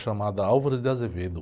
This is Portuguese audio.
chamada Álvaro de Azevedo.